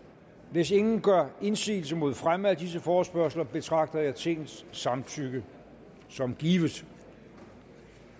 hvis ingen gør indsigelse mod fremme af disse forespørgsler betragter jeg tingets samtykke som givet